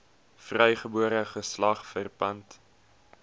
vrygebore geslag verpand